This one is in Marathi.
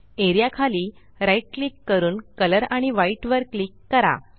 एआरईए खाली right क्लिक करून कलर आणि व्हाईट वर क्लिक करा